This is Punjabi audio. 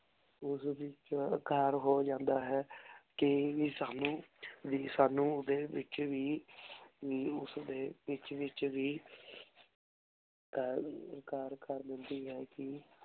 ਓਸ ਵਿਚ ਕਰ ਹੋਜਾਂਦਾ ਹੈ ਕੀ ਵੀ ਸਾਨੂ ਕੀ ਵੀ ਸਾਨੂ ਓਦੇ ਵਿਚ ਵੀ ਓਸ ਦੇ ਵਿਚ ਵਿਚ ਵੀ ਕਰ ਕਰ ਦੇਂਦੀ ਹੈ ਕਿ